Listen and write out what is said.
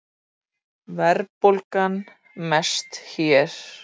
Verðbólgan mest hér